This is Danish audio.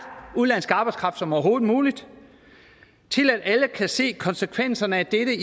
udenlandsk arbejdskraft som overhovedet muligt til at alle kan se konsekvenserne af dette